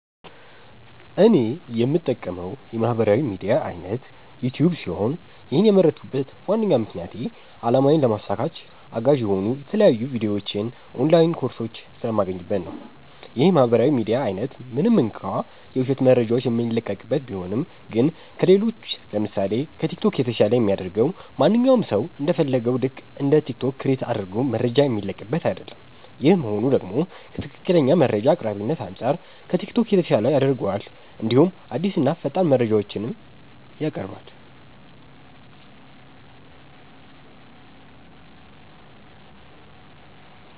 እኔ የምጠቀመዉ የማህበራዊ ሚድያ አይነት ዩቲዩብ ሲሆን ይህን የመረጥኩበት ዋነኛ ምክንያቴ አላማዬን ለማሳካት አጋዥ የሆኑ የተለያዩ ቪዲዮዎች ኦንላይን ኮርሶች ስለማገኝበት ነዉ። ይህ የማህበራዊ ሚዲያ አይነት ምንም እንኳ የዉሸት መረጃዎች የሚለቀቅበት ቢሆንም ግን ከሌሎች ለምሳሴ፦ ከቲክቶክ የተሻለ የሚያደርገዉ ማንኛዉም ሰዉ እንደ ፈለገዉ ልክ እንደ ቲክቶክ ክሬት አድርጎ መረጃ የሚለቅበት አይደለም ይሄ መሆኑ ደግሞ ከትክክለኛ መረጃ አቅራቢነት አንፃር ከቲክቶክ የተሻለ ያደርገዋል እንዲሁም አዲስና ፈጣን መረጃዎችንም ያቀርባል።